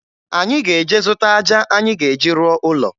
Anyị ga-eje zụta aja anyị ga-eji rụọ ụlọ